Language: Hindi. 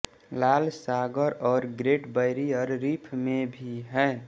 लाल सागर और ग्रेट बैरियर रीफ़ में भी हैं